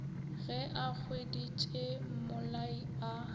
ge a hweditše mmolai a